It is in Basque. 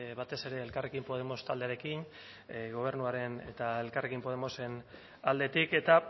batez ere elkarrekin podemos taldearekin gobernuaren eta elkarrekin podemosen aldetik eta